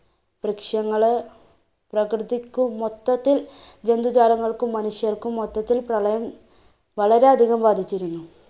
വൃക്ഷങ്ങള്, പ്രകൃതിക്ക് മൊത്തത്തിൽ ജന്തുജാലങ്ങൾക്കും, മനുഷ്യർക്കും മൊത്തത്തിൽ പ്രളയം വളരെയധികം ബാധിച്ചിരുന്നു.